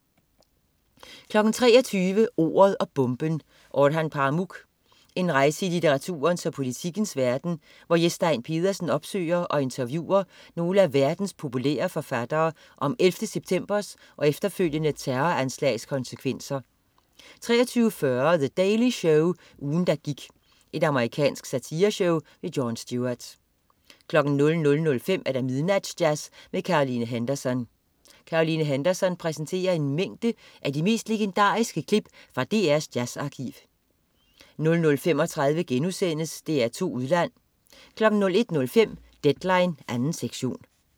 23.00 Ordet og bomben: Orhan Pamuk. En rejse i litteraturens og politikkens verden, hvor Jes Stein Pedersen opsøger og interviewer nogle af verdens populære forfattere om 11. septembers og efterfølgende terroranslags konsekvenser 23.40 The Daily Show, ugen der gik. Amerikansk satireshow. Jon Stewart 00.05 Midnatsjazz med Caroline Henderson. Caroline Henderson præsenterer en mængde af de mest legendariske klip fra DRs jazzarkiv 00.35 DR2 Udland* 01.05 Deadline 2. sektion